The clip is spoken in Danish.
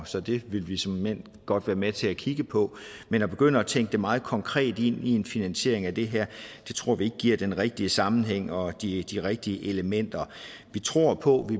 så det vil vi såmænd godt være med til at kigge på men at begynde at tænke det meget konkret ind i en finansiering af det her tror vi ikke giver den rigtige sammenhæng og de rigtige elementer vi tror på